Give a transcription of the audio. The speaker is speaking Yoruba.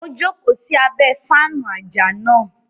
O joko sí abẹ faanu ajá náà